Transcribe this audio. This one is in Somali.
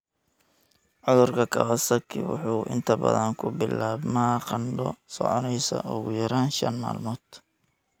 Cudurka Kawasaki wuxuu inta badan ku bilaabmaa qandho soconaysa ugu yaraan shaan maalmood.